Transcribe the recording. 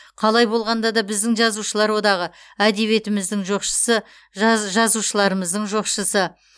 қалай болғанда да біздің жазушылар одағы әдебиетіміздің жоқшысы жазушылармыздың жоқшысы